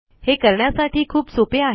हे करण्यासाठी खूप सोपे आहे